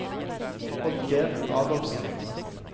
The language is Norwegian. Oddgeir Adolfsen